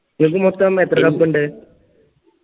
നിങ്ങൾക്ക് മൊത്തം എത്ര cup ഇണ്ട്